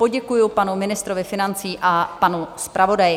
Poděkuji panu ministrovi financí a panu zpravodaji.